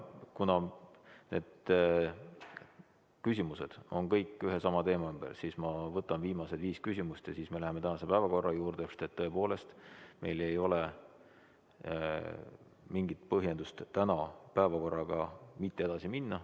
Kuna küsimused on kõik ühe ja sama teema ümber, siis ma võtan viimased viis küsimust ja siis me läheme tänase päevakorra juurde, sest meil ei ole mingit põhjendust tänase päevakorraga mitte edasi minna.